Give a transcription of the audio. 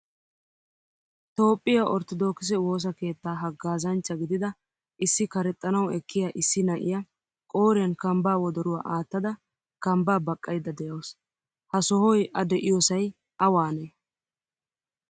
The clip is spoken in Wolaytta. Toophphiyaa orttodokise woosaa keettaa haaggazanchcha gidida issi karexxanawu ekkiya issi na'iyaa qoriyan kamba wodoruwaa aattada kamba baqayda deawusu. Ha sohoy a deiyosay awane?